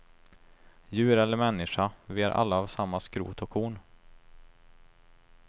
Djur eller människa, vi är alla av samma skrot och korn.